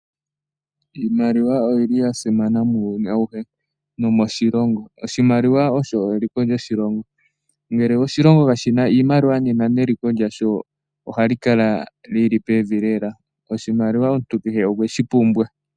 Iimaliwa oyi li ya simana muuyuni auhe nomoshilongo. Oshimaliwa osho eliko lyoshilongo, ngele oshilongo ka shina iimaliwa, nena neliko lyasho oha li kala li li pevi lela. Oshimaliwa omuntu kehe okwe shi pumbwa.